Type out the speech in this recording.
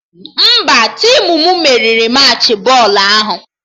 Mba, tim m meriri Machị bọọlụ ahụ